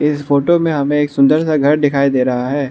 इस फोटो में हमें एक सुंदर सा घर दिखाई दे रहा है।